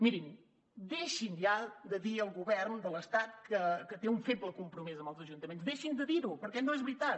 mirin deixin ja de dir al govern de l’estat que té un feble compromís amb els ajuntaments deixin de dir ho perquè no és veritat